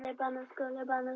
Hvaða raddir þá?